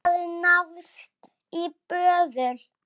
Það hafði náðst í böðul.